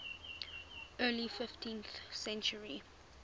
early fifteenth century